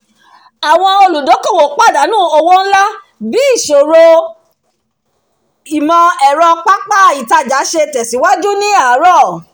àwọn olùdókòwò pàdánù owó ńlá bí ìṣòro ìmọ̀-ẹ̀rọ pápá ìtajà ṣe tẹ̀síwájú ni àárọ̀